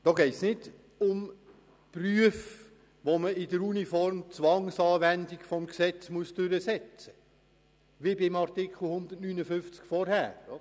Dabei geht es nicht um Berufe, bei welchen man Zwangsanwendungen in einer Uniform durchsetzt, wie dies gemäss dem vorherigen Artikel 159 der Fall war.